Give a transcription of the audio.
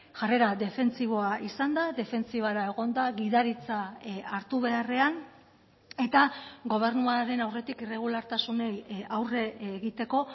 jarrera defentsiboa izan da defentsibara egon da gidaritza hartu beharrean eta gobernuaren aurretik irregulartasunei aurre egiteko